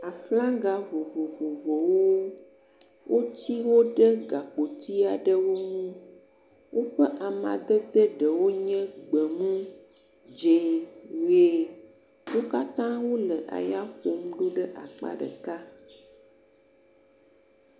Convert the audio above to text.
Flaga vovovowo, woti wo ɖe gakpoti aɖewo ŋu. Woƒe amadede ɖewo nye gbemu, dzɛ̃, yie, wo katã wole ya ƒom ɖe teƒe ɖeka.